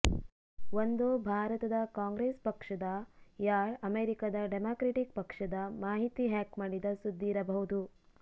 ಒಂದೋ ಭಾರತದ ಕಾಂಗ್ರೆಸ್ ಪಕ್ಷದ ಯಾ ಅಮೆರಿಕದ ಡೆಮಾಕ್ರೆಟಿಕ್ ಪಕ್ಷದ ಮಾಹಿತಿ ಹ್ಯಾಕ್ ಮಾಡಿದ ಸುದ್ದಿಯಿರಬಹುದು